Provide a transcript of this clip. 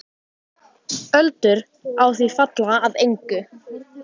Öldur á því falla að engu.